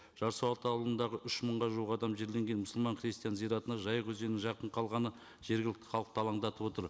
жарсуат ауылындағы үш мыңға жуық адам жерленген мұсылман христиан зиратына жайық өзенінің жақын қалғаны жергілікті халықты алаңдатып отыр